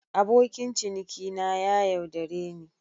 Abokin cinikina ya yaudare ni.